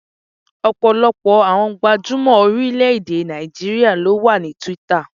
Ọ̀pọ̀lọpọ̀ àwọn gbajúmọ̀ orílẹ̀-èdè Nàìjíríà ló wà ní Twitter.